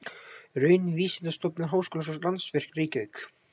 Raunvísindastofnun Háskólans og Landsvirkjun, Reykjavík.